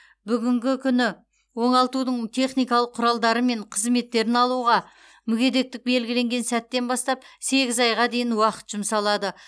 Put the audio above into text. бүгінгі күні оңалтудың техникалық құралдары мен қызметтерін алуға мүгедектік белгіленген сәттен бастап сегіз айға дейін уақыт жұмсалады